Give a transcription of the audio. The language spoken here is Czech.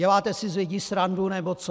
Děláte si z lidí srandu nebo co?